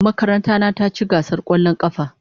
Makaranta na ta ci gasar kwallon kafa.